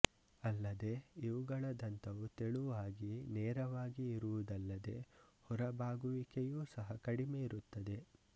ಅಲ್ಲದೆ ಇವುಗಳ ದಂತವು ತೆಳುವಾಗಿ ನೇರವಾಗಿ ಇರುವುದಲ್ಲದೆ ಹೊರಬಾಗುವಿಕೆಯು ಸಹ ಕಡಿಮೆ ಇರುತ್ತದೆ